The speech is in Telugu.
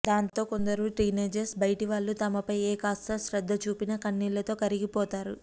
దాంతో కొందరు టీనేజర్స్ బయటివాళ్లు తమపై ఏకాస్త శ్రద్ధచూపినా కన్నీళ్లతో కరిగిపోతారు